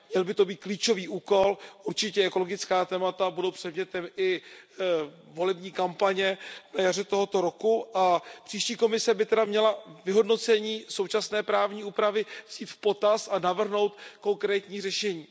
Měl by to být klíčový úkol, určitě ekologická témata budou předmětem i volební kampaně na jaře tohoto roku a příští Komise by tedy měla vyhodnocení současné právní úpravy vzít v potaz a navrhnout konkrétní řešení.